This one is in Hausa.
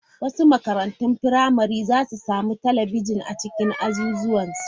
Wasu makarantun firamare za su sami talabijin a cikin azuzuwan su.